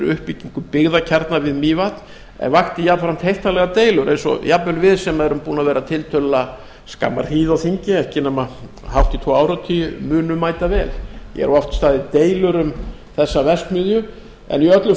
uppbyggingu byggðakjarna við mývatn en vakti jafnframt heiftarlegar deilur eins og jafnvel við sem erum búin að vera tiltölulega skamma hríð á þingi ekki nema hátt í tvo áratugi munum mætavel hér hafa oft staðið deilur um þessa verksmiðju en í öllu